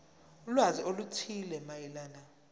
ulwazi oluthile mayelana